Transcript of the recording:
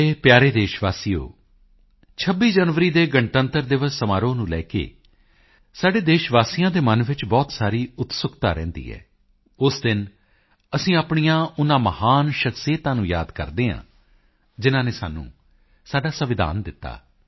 ਮੇਰੇ ਪਿਆਰੇ ਦੇਸ਼ ਵਾਸੀਓ 26 ਜਨਵਰੀ ਦੇ ਗਣਤੰਤਰ ਦਿਵਸ ਸਮਾਰੋਹ ਨੂੰ ਲੈ ਕੇ ਸਾਡੇ ਦੇਸ਼ ਵਾਸੀਆਂ ਦੇ ਮਨ ਵਿੱਚ ਬਹੁਤ ਸਾਰੀ ਉਤਸੁਕਤਾ ਰਹਿੰਦੀ ਹੈ ਉਸ ਦਿਨ ਅਸੀਂ ਆਪਣੀਆਂ ਉਨ੍ਹਾਂ ਮਹਾਨ ਸ਼ਖਸੀਅਤਾਂ ਨੂੰ ਯਾਦ ਕਰਦੇ ਹਾਂ ਜਿਨ੍ਹਾਂ ਨੇ ਸਾਨੂੰ ਸਾਡਾ ਸੰਵਿਧਾਨ ਦਿੱਤਾ